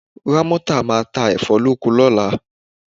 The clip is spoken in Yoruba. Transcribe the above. Rámọ́tà máa ta ẹ̀fọ́ lóko lọ́la